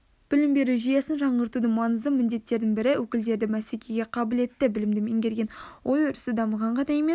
білім беру жүйесін жаңғыртудың маңызды міндеттерінің бірі өкілдері бәсекеге қабілетті білімді меңгерген ой-өрісі дамыған ғана емес